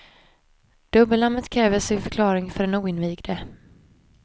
Dubbelnamnet kräver sin förklaring för den oinvigde.